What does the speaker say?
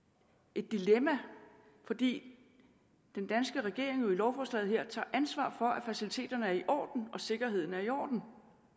et dilemma fordi den danske regering jo i lovforslaget her tager ansvar for at faciliteterne er i orden og at sikkerheden er i orden